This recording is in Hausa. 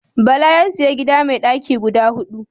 Bala ya sayi gida mai daki guda hudu.